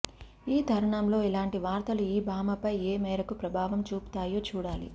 ఈ తరుణంలో ఇలాంటి వార్తలు ఈ భామపై ఏ మేరకు ప్రభావం చూపుతాయో చూడాలి